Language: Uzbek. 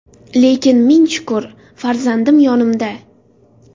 Lekin, ming shukr, farzandim yonimda.